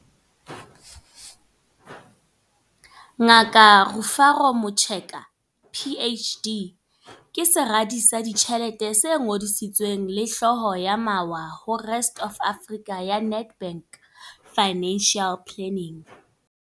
Ngaka Rufaro Mucheka PHD ke Seradi sa Ditjhelete se Ngodisitsweng le Hlooho ya Mawa ho Rest Of Africa ya Nedbank Financial Planning.